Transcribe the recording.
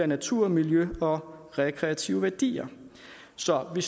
natur miljø og rekreative værdier så vi